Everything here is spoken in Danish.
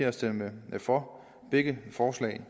at stemme for begge forslag